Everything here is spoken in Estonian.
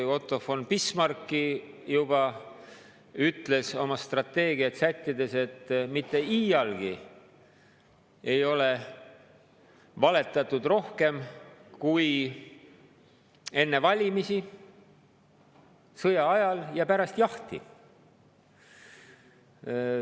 Otto von Bismarck juba ütles oma strateegiat sättides, et mitte iialgi ei ole valetatud rohkem kui enne valimisi, sõja ajal ja pärast jahti.